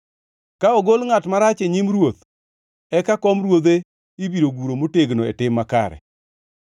ka ogol ngʼat marach e nyim ruoth, eka kom ruodhe ibiro guro motegno e tim makare.